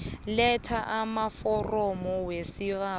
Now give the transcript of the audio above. letha amaforomo wesibawo